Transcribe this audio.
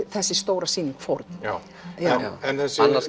þessi stóra sýning fórn já annars